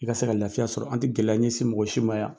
I ka se ka lafiya sɔrɔ, an tɛ gɛlɛya ɲɛsin mɔgɔ si ma yan .